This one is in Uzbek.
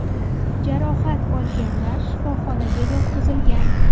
Jarohat olganlar shifoxonaga yotqizilgan.